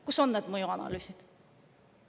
Kus on need mõjuanalüüsid?